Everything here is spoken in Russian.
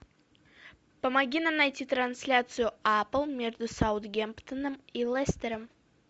помоги нам найти трансляцию апл между саутгемптоном и лестером